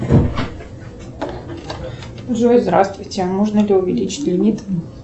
джой здравствуйте можно ли увеличить лимит